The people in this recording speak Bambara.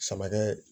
Samakɛ